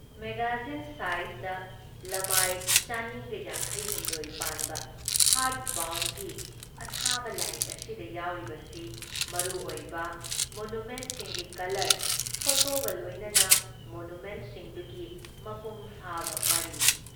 Magazine ꯁꯥꯏꯖꯗ ꯂꯃꯥꯏ ꯲꯵꯳ ꯄꯥꯟꯕ ꯍꯥꯔꯗ ꯕꯥꯎꯟꯒꯤ ꯑꯊꯥꯕ ꯂꯥꯏꯔꯤꯛ ꯑꯁꯤꯗ ꯌꯥꯎꯔꯤꯕꯁꯤ ꯃꯔꯨ ꯑꯣꯏꯕ ꯃꯣꯅꯨꯃꯦꯟꯁꯤꯡꯒꯤ ꯀꯂꯔ ꯐꯣꯇꯣꯒ ꯂꯣꯏꯅꯅ ꯃꯣꯅꯨꯃꯦꯟꯠꯁꯤꯡꯗꯨꯒꯤ ꯃꯄꯨꯡ ꯐꯥꯕ ꯋꯥꯔꯤꯅꯤ ꯫